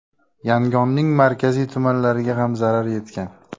Yangonning markaziy tumanlariga ham zarar yetgan.